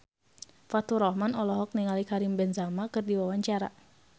Faturrahman olohok ningali Karim Benzema keur diwawancara